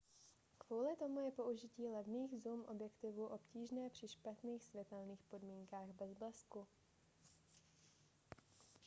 kvůli tomu je použití levných zoom objektivů obtížné při špatných světelných podmínkách bez blesku